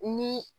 Ni